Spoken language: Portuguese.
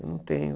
Eu não tenho.